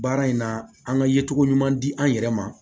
Baara in na an ka yecogo ɲuman di an yɛrɛ ma